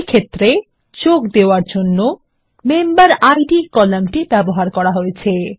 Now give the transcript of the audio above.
এক্ষেত্রে যোগ দেওয়ার জন্য মেম্বেরিড কলাম ব্যবহার করা হয়েছে